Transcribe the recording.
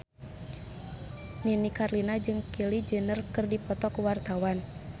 Nini Carlina jeung Kylie Jenner keur dipoto ku wartawan